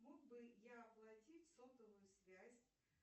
мог бы я оплатить сотовую связь